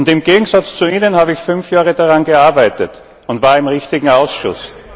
Im Gegensatz zu Ihnen habe ich fünf Jahre daran gearbeitet und war im richtigen Ausschuss.